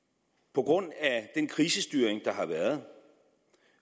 på grund af den krisestyring der har været